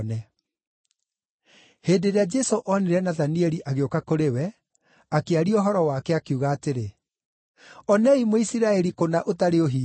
Hĩndĩ ĩrĩa Jesũ onire Nathanieli agĩũka kũrĩ we, akĩaria ũhoro wake, akiuga atĩrĩ, “Onei Mũisiraeli kũna ũtarĩ ũhinga.”